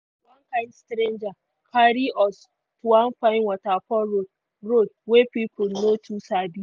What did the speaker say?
one kind stranger carry us to one fine waterfall road road wey people no too sabi.